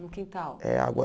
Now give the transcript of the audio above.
No quintal. É água